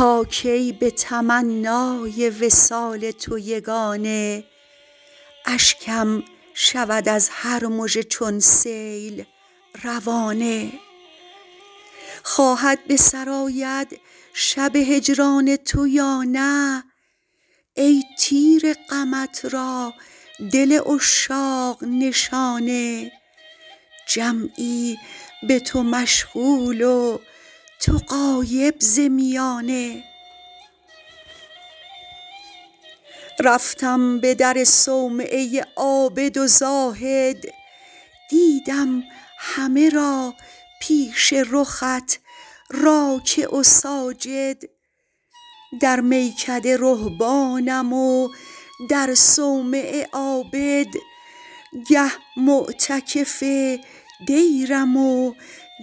تا کی به تمنای وصال تو یگانه اشکم شود از هر مژه چون سیل روانه خواهد به سر آید شب هجران تو یا نه ای تیر غمت را دل عشاق نشانه جمعی به تو مشغول و تو غایب ز میانه رفتم به در صومعه عابد و زاهد دیدم همه را پیش رخت راکع و ساجد در میکده رهبانم و در صومعه عابد گه معتکف دیرم و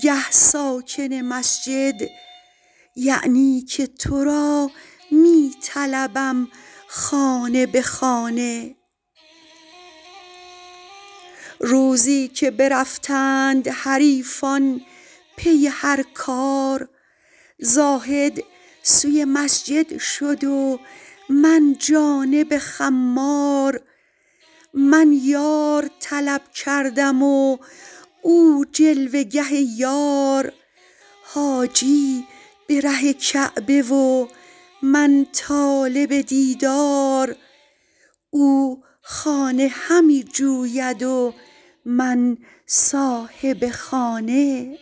گه ساکن مسجد یعنی که تو را می طلبم خانه به خانه روزی که برفتند حریفان پی هر کار زاهد سوی مسجد شد و من جانب خمار من یار طلب کردم و او جلوه گه یار حاجی به ره کعبه و من طالب دیدار او خانه همی جوید و من صاحب خانه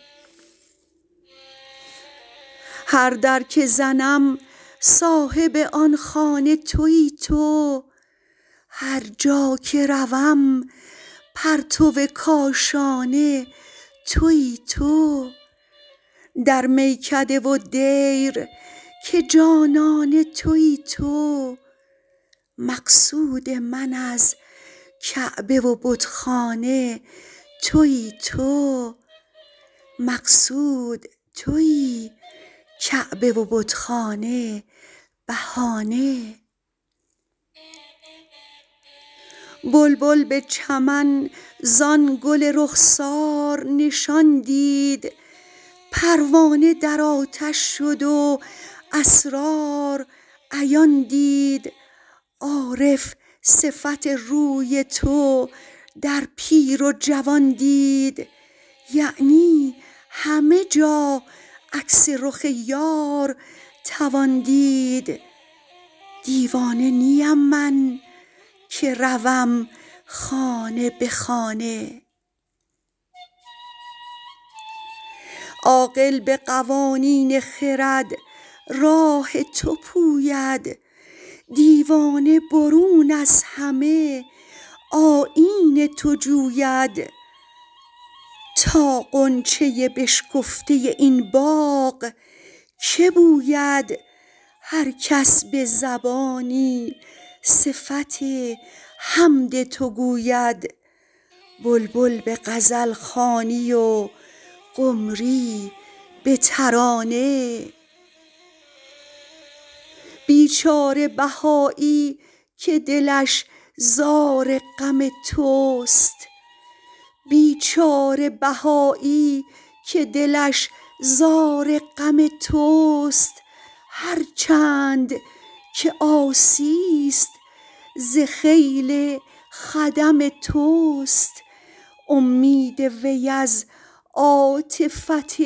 هر در که زنم صاحب آن خانه تویی تو هرجا که روم پرتو کاشانه تویی تو در میکده و دیر که جانانه تویی تو مقصود من از کعبه و بتخانه تویی تو مقصود تویی کعبه و بتخانه بهانه بلبل به چمن زان گل رخسار نشان دید پروانه در آتش شد و اسرار عیان دید عارف صفت روی تو در پیر و جوان دید یعنی همه جا عکس رخ یار توان دید دیوانه نیم من که روم خانه به خانه عاقل به قوانین خرد راه تو پوید دیوانه برون از همه آیین تو جوید تا غنچه بشکفته این باغ که بوید هرکس به زبانی صفت حمد تو گوید بلبل به غزلخوانی و قمری به ترانه بیچاره بهایی که دلش زار غم توست هرچند که عاصی است ز خیل خدم توست امید وی از عاطفت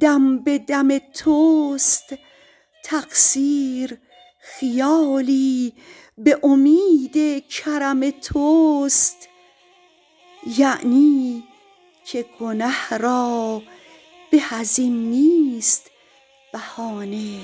دم به دم توست تقصیر خیالی به امید کرم توست یعنی که گنه را به از این نیست بهانه